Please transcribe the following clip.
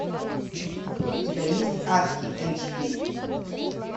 у тебя есть адский эндшпиль